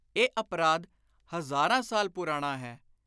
ਇਹ ਅਪਰਾਧ ਹਜ਼ਾਰਾਂ ਸਾਲ ਪੁਰਾਣਾ ਹੈ।